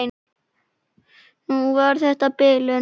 Nú var þetta bilun.